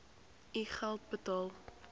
u geld uitbetaal